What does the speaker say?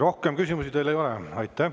Rohkem küsimusi teile ei ole.